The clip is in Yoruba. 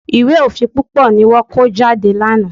Ìwé òfin púpọ̀ ni wọ́n kó jáde lánàá.